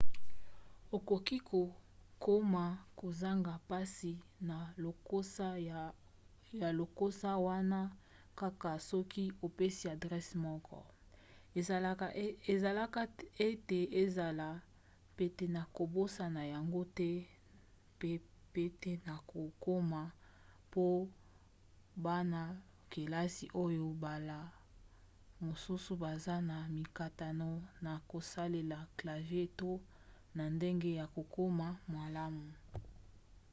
okoki kokoma kozanga mpasi na lokasa wana kaka soki opesi adrese moko esalaka ete ezala pete na kobosana yango te pe pete na kokoma po bana-kelasi oyo mbala mosusu baza na mikakatano na kosalela clavier to na ndenge ya kokoma malamu